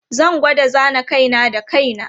Zan gwada zana kai na da kai na.